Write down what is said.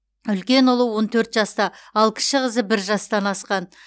үлкен ұлы он төрт жаста ал кіші қызы бір жастан асқан